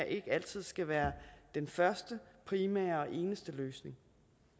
ikke altid skal være den første primære og eneste løsning